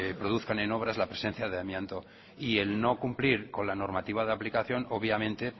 produzcan en obras la presencia de amianto y el no cumplir con la normativa de aplicación obviamente